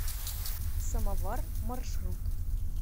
самовар маршрут